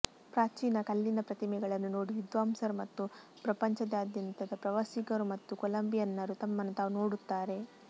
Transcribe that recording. ಪ್ರಾಚೀನ ಕಲ್ಲಿನ ಪ್ರತಿಮೆಗಳನ್ನು ನೋಡಿ ವಿದ್ವಾಂಸರು ಮತ್ತು ಪ್ರಪಂಚದಾದ್ಯಂತದ ಪ್ರವಾಸಿಗರು ಮತ್ತು ಕೊಲಂಬಿಯನ್ನರು ತಮ್ಮನ್ನು ತಾವು ನೋಡುತ್ತಾರೆ